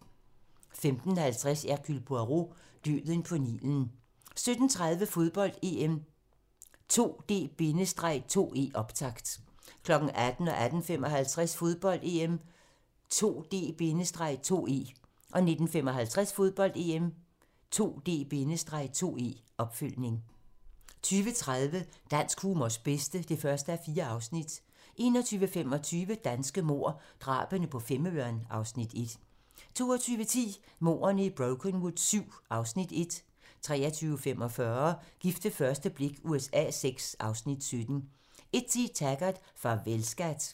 15:50: Hercule Poirot: Døden på Nilen 17:30: Fodbold: EM - 2D-2E, optakt 18:00: Fodbold: EM - 2D-2E 18:55: Fodbold: EM - 2D-2E 19:55: Fodbold: EM - 2D-2E, opfølgning 20:30: Dansk humors bedste (1:4) 21:25: Danske mord - Drabene på Femøren (Afs. 1) 22:10: Mordene i Brokenwood VII (Afs. 1) 23:45: Gift ved første blik USA VI (Afs. 17) 01:10: Taggart: Farvel, skat